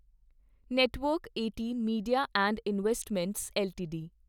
network 18 Media and Investments LTD